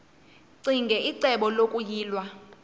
ccinge icebo lokuyilwa